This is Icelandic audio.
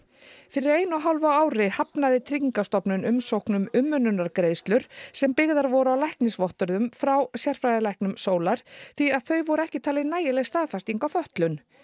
fyrir einu og hálfu ári hafnaði Tryggingastofnun umsókn um umönnunargreiðslur sem byggðar voru á læknisvottorðum frá sérfræðilæknum Sólar því að þau voru ekki talin nægileg staðfesting á fötlun